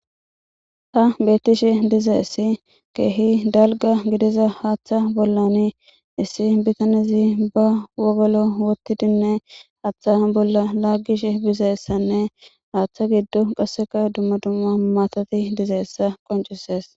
Ha betishe dizaysi kehi dalga gidiza haatha bolani issi bitanezi ba wogolo wothidine haatha bola lagishe dizaysane haatha giddon qaseka dumma dumma matati dizaysa qoncises